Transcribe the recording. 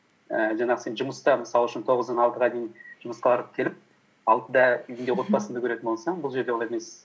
ііі жаңағы сен жұмыста мысал үшін тоғыздан алтыға дейін жұмысқа барып келіп алтыда үйіңде отбасыңды көретін болсаң бұл жерде ол емес